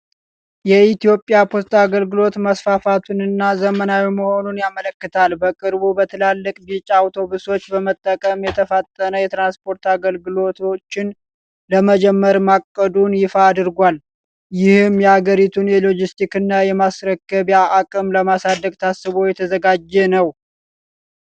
የኢትዮጵያ ፖስታ አገልግሎት መስፋፋቱንና ዘመናዊ መሆኑን ያመለክታል። በቅርቡ በትላልቅ ቢጫ አውቶቡሶች በመጠቀም የተፋጠነ የትራንስፖርት አገልግሎቶችን ለመጀመር ማቀዱን ይፋ አድርጓል። ይህም የአገሪቱን የሎጅስቲክስና የማስረከቢያ አቅም ለማሳደግ ታስቦ የተዘጋጀ ነው።